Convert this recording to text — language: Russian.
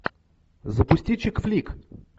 запусти чик флик